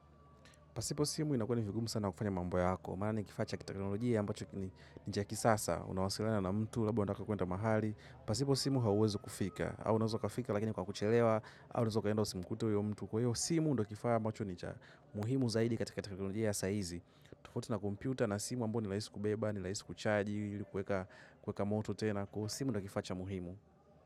Pasipo simu inakuwa ni vigumu sana kufanya mambo yako. Maana ni kifaa cha kiteknolojia ambacho ni cha kisasa. Unawasiliana na mtu labda unataka kuenda mahali. Pasipo simu hauwezi kufika, au unaweza kafika lakini kwa kuchelewa. Au unaweza ukaenda usimkute huyo mtu. Kwa hiyo simu ndo kifaa ambacho ni cha. Muhimu zaidi katika teknolojia ya saizi. Tuko tena na kompyuta na simu ambayo ni lahisi kubeba, ni lahisi kuchaji, kuweka, kuweka moto tena. Simu ndo kifaa cha muhimu.